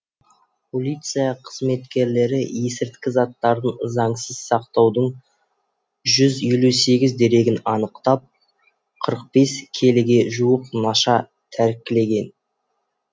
полиция қызметкерлері есірткі заттарын заңсыз сақтаудың жүз елу сегіз дерегін анықтап қырық бес келіге жуық наша тәркілеген